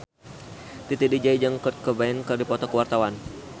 Titi DJ jeung Kurt Cobain keur dipoto ku wartawan